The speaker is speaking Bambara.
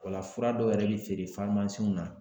O la fura dɔw yɛrɛ bɛ feere farmasiw na.